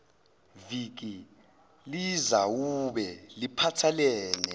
viki lizawube liphathelene